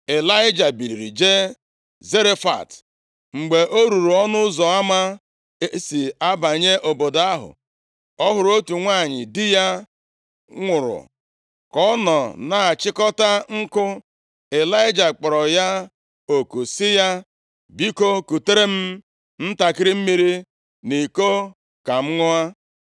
Ịlaịja biliri jee Zarefat. Mgbe o ruru ọnụ ụzọ ama e si abanye obodo ahụ, ọ hụrụ otu nwanyị di ya nwụrụ ka ọ nọ na-achịkọta nkụ. Ịlaịja kpọrọ ya oku sị ya, “Biko, kutere m ntakịrị mmiri nʼiko ka m ṅụọ.”